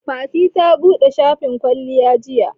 Fatima ta buɗe shafin kwalliya jiya.